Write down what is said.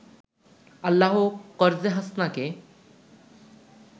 আল্লাহ 'করযে হাসানা'কে